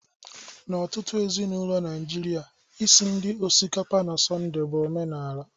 N'ọtụtụ ezinaụlọ Naịjirịa, Isi nri osikapa na Sọnde bụ omenala